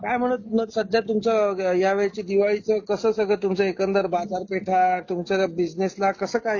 काय म्हणत सध्या तर तुमचं ह्या वेळीच दिवाळीच कसं सगळं तुमचं एकन्दर बाजारपेठा तुमचं बिजनेस बिजनेसला कस काय कसं काय?